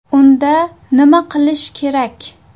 Unda nima qilish kerak?